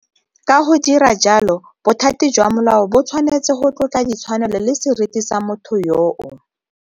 Ka go dira jalo, bothati jwa molao bo tshwanetse go tlotla ditshwanelo le seriti sa motho yoo.